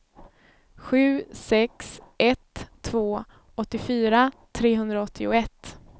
sju sex ett två åttiofyra trehundraåttioett